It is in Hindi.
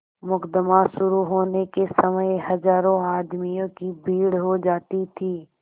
मुकदमा शुरु होने के समय हजारों आदमियों की भीड़ हो जाती थी